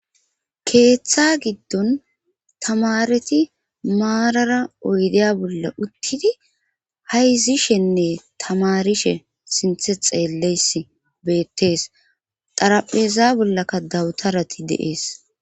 keeththa giddon tamareti maarara oydeya bolla uttidi hayzishenne tamarishe sinthe xeelleys beettees xarapheza bollaka dawutarati de7ees